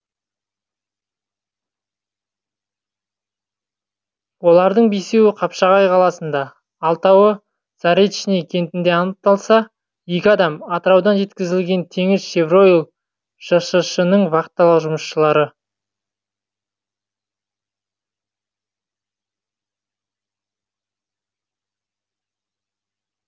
олардың бесеуі қапшағай қаласында алтауы заречный кентінде анықталса екі адам атыраудан жеткізілген теңізшевройл жшс ның вахталық жұмысшылары